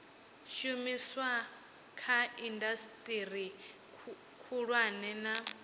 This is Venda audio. shumiswa kha indasiteri khulwane na